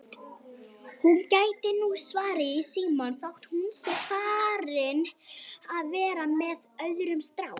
Hún gæti nú svarað í símann þótt hún sé farin að vera með öðrum strák